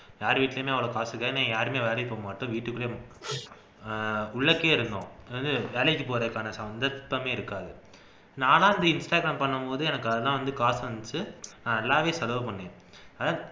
யார் வீட்லையுமே பாத்துக்க ஏன்னா யாருமே வேலைக்கு போகமாட்டோம் வீட்டுக்குள்ளயே உள்ளேயே இருந்தோம் அதாவது வேலைக்கு போறதுக்கான சந்தர்ப்பமே இருக்காது நானா இன்ஸ்டாகிராம் பண்ணும்போது எனக்கு அதுதான் வந்து காசு வந்துச்சு நான் நல்லாவே செலவு பண்ணினேன்